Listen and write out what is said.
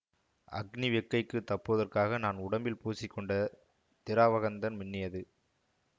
அக்னி வெக்கைக்குத் தப்புவதற்காக நான் உடம்பில் பூசிக் கொண்ட திராவகந்தன் மின்னியது